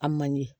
A man ɲi